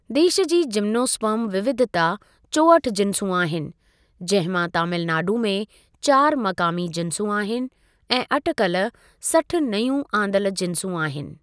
देश जी जिम्नोस्पर्म विविधता चोहठि जिंसूं आहिनि, जहिं मां तमिलनाडु में चारि मकामी जिंसूं आहिन ऐं अटिकल सठि नयूं आंदल जिंसूं आहिनि।